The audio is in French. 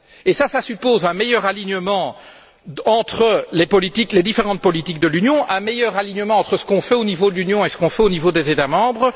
Cela suppose un meilleur alignement entre les différentes politiques de l'Union, un meilleur alignement entre ce qui est fait au niveau de l'Union et ce qui est fait au niveau des États membres.